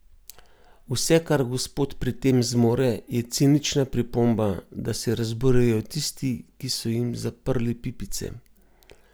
Vse, kar gospod pri tem zmore, je cinična pripomba, da se razburjajo tisti, ki so jim zaprli pipice.